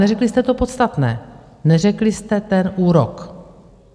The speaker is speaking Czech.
Neřekli jste to podstatné, neřekli jste ten úrok.